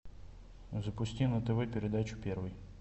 запусти на тв передачу первый